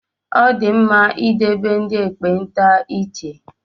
Ọ dị mma idebe ndị ekpenta iche